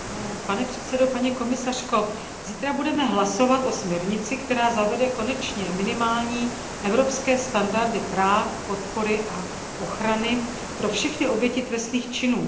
Pane předsedající, paní komisařko, zítra budeme hlasovat o směrnici, která zavede konečně minimální evropské standardy práv, podpory a ochrany pro všechny oběti trestných činů.